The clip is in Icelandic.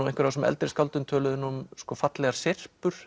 einhver af þessum eldri skáldum töluðu um fallegar